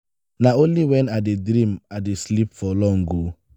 na only wen i dey dream i dey sleep for long o.